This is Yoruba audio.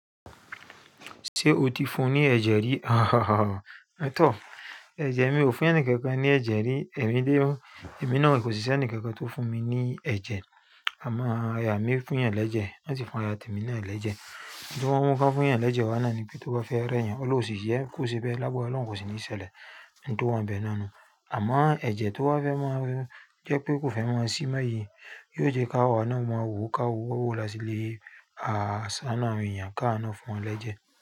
Ṣé o ti fún ní ẹ̀jẹ̀ rí? Hahahaha, at all. Ẹ̀jẹ̀ mi ò fún ẹni kankan ní ẹ̀jẹ̀ rí. Èmi lé o. Èmi náà kò sí sẹ́ni kankan tó fún mi ní ẹ̀jẹ̀. Amo ya mi fun yan ni eje, won si fun aya mi naa ni eje. Lágbara Ọlọ́run kò sí ní sele. Nto wan bẹ náà nu. Àmáà ẹ̀jẹ̀ tó wá fẹ́ máa mú jẹ́ pé kò fẹ́ máa sí mọ́ iyì, yóò jẹ káwọ́ náà mú àwọn òru káwọ́, ó wọ̀ lásílé. Àá sá náà rin, ìyà káà náà fún ọ l'ẹ́jẹ̀